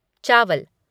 चावल